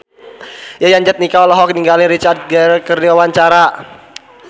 Yayan Jatnika olohok ningali Richard Gere keur diwawancara